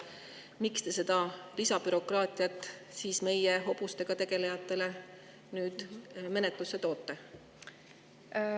Miks te selle lisabürokraatia hobustega tegelejatele nüüd menetlusse tõite?